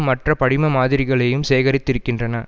மற்றும் படிம மாதிரிகளையும் சேகரித்திருக்கின்றன